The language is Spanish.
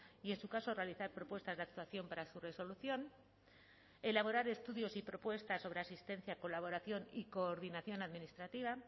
y en su caso realizar propuestas de actuación para su resolución elaborar estudios y propuestas sobre asistencia colaboración y coordinación administrativa